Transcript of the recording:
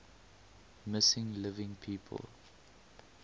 missing living people